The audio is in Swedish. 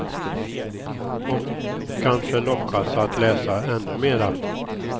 Och kanske lockas att läsa ännu mera.